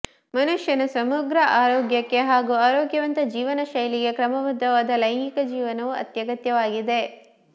ಮನುಷ್ಯನ ಸಮಗ್ರ ಆರೋಗ್ಯಕ್ಕೆ ಹಾಗೂ ಆರೋಗ್ಯವಂತ ಜೀವನ ಶೈಲಿಗೆ ಕ್ರಮಬದ್ಧವಾದ ಲೈಂಗಿಕ ಜೀವನವೂ ಅತ್ಯಗತ್ಯವಾಗಿದೆ